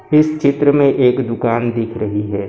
इस चित्र में एक दुकान दिख रही है।